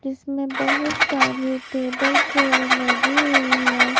जिसमें बहुत सारी टेबल चेयर लगी हुई है।